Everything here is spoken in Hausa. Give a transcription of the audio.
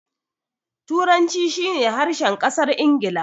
Turanci shi ne harshen ƙasar Ingila.